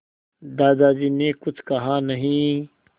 दादाजी ने कुछ कहा नहीं